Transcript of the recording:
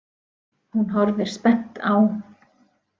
Hún horfir spennt á.